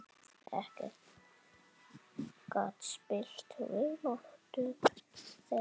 Ekkert gat spillt vináttu þeirra.